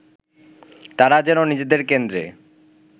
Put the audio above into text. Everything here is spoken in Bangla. তারা যেন নিজেদের কেন্দ্রে